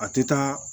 A tɛ taa